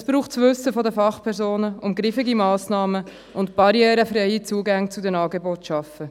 Es braucht das Wissen der Fachpersonen und griffige Massnahmen und es sind barrierefreie Zugänge zu den Angeboten zu schaffen.